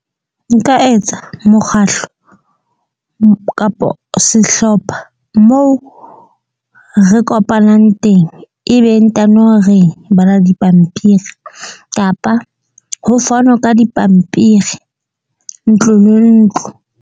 Nka etsa mokgahlo kapo sehlopha moo re kopanang teng. Ebe ntano re bala dipampiri, kapa ho fanwe ka dipampiri, ntlo le ntlo.